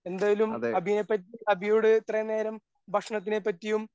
എന്തായാലും അഭിയെപ്പറ്റി അഭിയോട് ഇത്രയും നേരം ഭക്ഷണത്തിനെ പറ്റിയും